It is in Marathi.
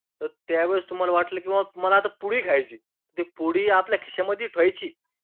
तर त्यावेळेस तुम्हांला वाटलं की मला आता पुडी खायची, ती पुडीआपल्या खिशामध्ये ठेवायची.